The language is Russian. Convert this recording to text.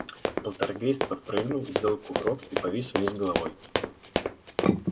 полтергейст подпрыгнул сделал кувырок и повис вниз головой